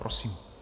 Prosím.